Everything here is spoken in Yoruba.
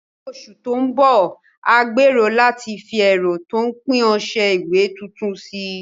Ní oṣù tó ń bọ̀, a gbèrò láti fi ẹ̀rọ tó ń pín ọṣẹ ìwẹ̀ tuntun sí i.